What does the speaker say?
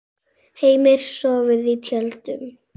Heimir: Sofið í tjöldum?